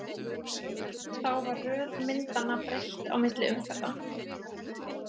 Þá var röð myndanna breytt á milli umferða.